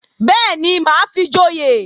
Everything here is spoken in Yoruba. Bẹ́ẹ̀ni, mà á fi joyè